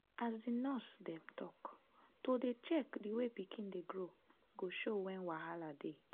as di nurse dem talk to dey check the way pikin dey grow go show wen wahala dey.